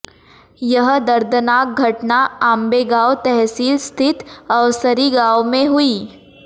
यह दर्दनाक घटना आंबेगांव तहसील स्थित अवसरी गांव में हुई